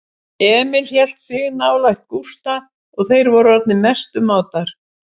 Emil hélt sig nálægt Gústa og þeir voru orðnir mestu mátar.